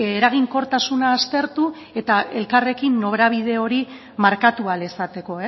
eraginkortasuna aztertu eta elkarrekin norabide hori markatu ahal izateko